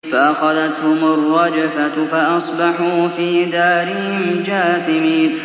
فَأَخَذَتْهُمُ الرَّجْفَةُ فَأَصْبَحُوا فِي دَارِهِمْ جَاثِمِينَ